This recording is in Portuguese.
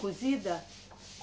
Cozida?